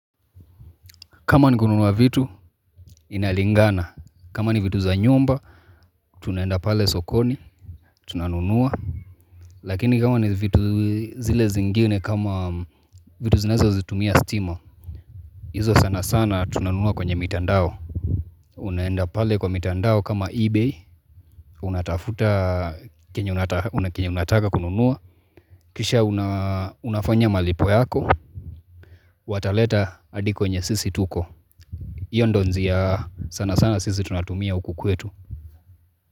Kama ni kununua vitu, inalingana. Kama ni vitu za nyumba, tunaenda pale sokoni, tunanunua. Lakini kama ni vitu zile zingine kama vitu zinazozitumia stima, izo sana sana tunanunua kwenye mitandao. Unaenda pale kwa mitandao kama ebay, unatafuta kenye unataka kununua, kisha unafanya malipo yako, wataleta hadi kwenye sisi tuko. Iyo ndio njia, sana sana sisi tunatumia huku kwetu.